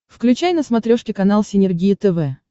включай на смотрешке канал синергия тв